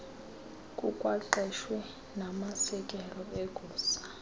kukwaqeshwe namasekela egosa